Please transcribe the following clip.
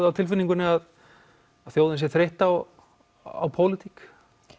á tilfinningunni að þjóðin sé þreytt á á pólitík